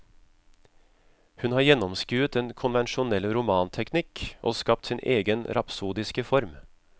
Han har gjennomskuet den konvensjonelle romanteknikk og skapt sin egen rapsodiske form.